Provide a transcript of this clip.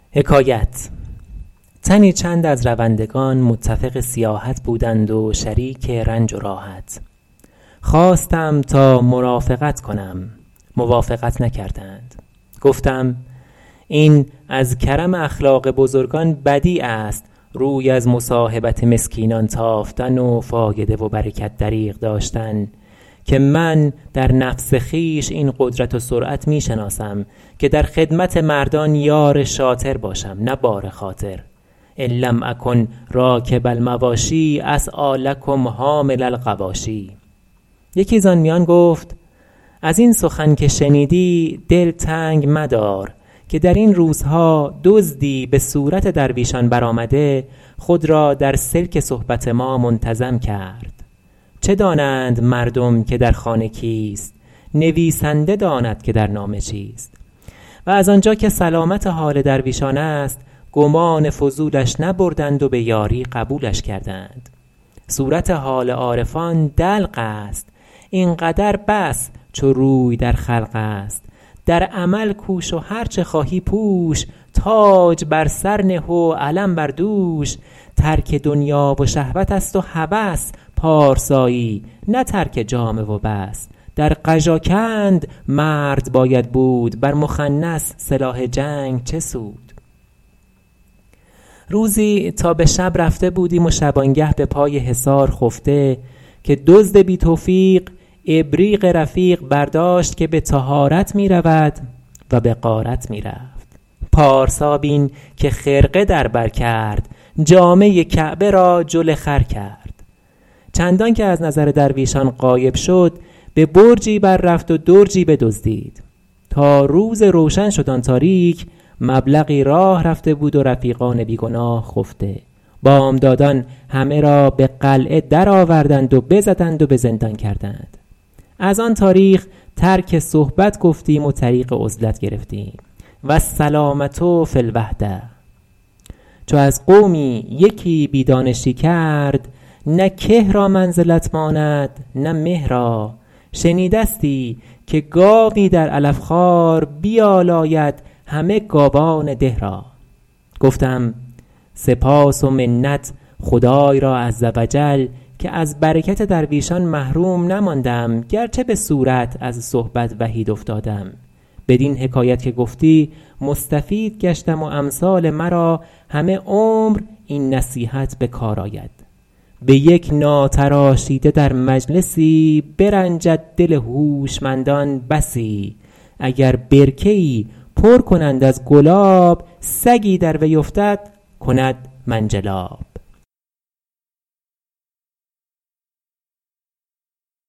تنی چند از روندگان متفق سیاحت بودند و شریک رنج و راحت خواستم تا مرافقت کنم موافقت نکردند گفتم این از کرم اخلاق بزرگان بدیع است روی از مصاحبت مسکینان تافتن و فایده و برکت دریغ داشتن که من در نفس خویش این قدرت و سرعت می شناسم که در خدمت مردان یار شاطر باشم نه بار خاطر ان لم اکن راکب المواشی اسعیٰ لکم حامل الغواشی یکی زآن میان گفت از این سخن که شنیدی دل تنگ مدار که در این روزها دزدی به صورت درویشان برآمده خود را در سلک صحبت ما منتظم کرد چه دانند مردم که در خانه کیست نویسنده داند که در نامه چیست و از آنجا که سلامت حال درویشان است گمان فضولش نبردند و به یاری قبولش کردند صورت حال عارفان دلق است این قدر بس چو روی در خلق است در عمل کوش و هرچه خواهی پوش تاج بر سر نه و علم بر دوش ترک دنیا و شهوت است و هوس پارسایی نه ترک جامه و بس در قژاکند مرد باید بود بر مخنث سلاح جنگ چه سود روزی تا به شب رفته بودیم و شبانگه به پای حصار خفته که دزد بی توفیق ابریق رفیق برداشت که به طهارت می رود و به غارت می رفت پارسا بین که خرقه در بر کرد جامه کعبه را جل خر کرد چندان که از نظر درویشان غایب شد به برجی بر رفت و درجی بدزدید تا روز روشن شد آن تاریک مبلغی راه رفته بود و رفیقان بی گناه خفته بامدادان همه را به قلعه درآوردند و بزدند و به زندان کردند از آن تاریخ ترک صحبت گفتیم و طریق عزلت گرفتیم والسلامة فی الوحدة چو از قومی یکی بی دانشی کرد نه که را منزلت ماند نه مه را شنیدستی که گاوی در علف خوار بیالاید همه گاوان ده را گفتم سپاس و منت خدای را عزوجل که از برکت درویشان محروم نماندم گرچه به صورت از صحبت وحید افتادم بدین حکایت که گفتی مستفید گشتم و امثال مرا همه عمر این نصیحت به کار آید به یک ناتراشیده در مجلسی برنجد دل هوشمندان بسی اگر برکه ای پر کنند از گلاب سگی در وی افتد کند منجلاب